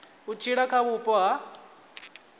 u tshila kha vhupo ha